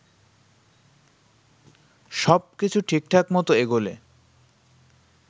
সবকিছু ঠিকঠাক মত এগোলে